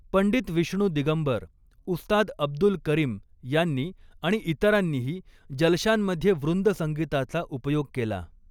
पंडित विष्णु दिगंबर, उस्ताद अब्दुल करीम यांनी आणि इतरांनीही जलशांमध्ये वृंदसंगीताचा उपयोग केला.